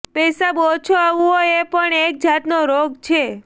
પેશાબ ઓછો આવવો એ પણ એક જાતનો રોગ છે